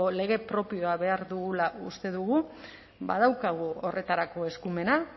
lege propioa behar dugula uste dugu badaukagu horretarako eskumena